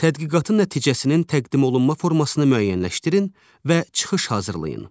Tədqiqatın nəticəsinin təqdim olunma formasını müəyyənləşdirin və çıxış hazırlayın.